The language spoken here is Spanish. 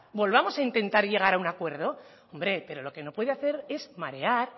volvamos a intentar llegar a un acuerdo hombre pero lo que no puede hacer es marear